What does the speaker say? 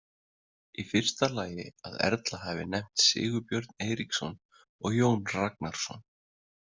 Í fyrsta lagi að Erla hafi nefnt Sigurbjörn Eiríksson og Jón Ragnarsson.